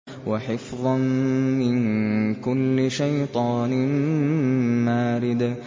وَحِفْظًا مِّن كُلِّ شَيْطَانٍ مَّارِدٍ